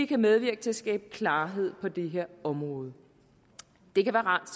kan medvirke til at skabe klarhed på det her område det kan være rart